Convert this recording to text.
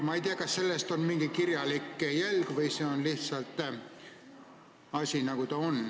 Ma ei tea, kas sellest on ka mingi kirjalik jälg või see lihtsalt on nii.